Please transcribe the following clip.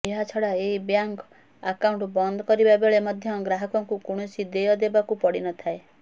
ଏହାଛଡା ଏହି bank account ବନ୍ଦ କରିବା ବେଳେ ମଧ୍ୟ ଗ୍ରାହକଙ୍କୁ କୌଣସି ଦେୟ ଦେବାକୁ ପଡିନଥାଏ